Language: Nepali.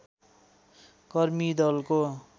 कर्मी दलको